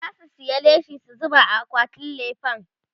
zasu saya leshi su zuba a akwatin lefen